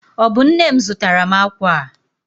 Ọ bụ nne m zụtara m akwa a?